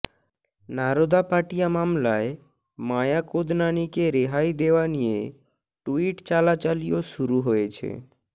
নারোদা পাটিয়া মামলায় মায়া কোদনানিকে রেহাই দেওয়া নিয়ে ট্যুইট চালাচালিও শুরু হয়েছে